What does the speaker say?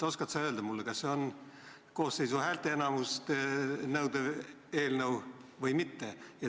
Oskad sa öelda, kas see on koosseisu häälteenamust nõudev eelnõu või mitte?